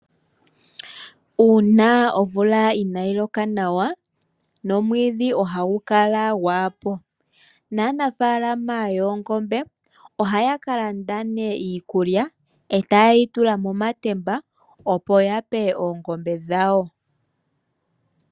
Uuna omvula inayiloka nawa omwidhi ohagu kala ngwapo, nanafalama yongombe oha ya kalanda ne iikulya ota yeyitula momatemba opo yape oongombe dhawo.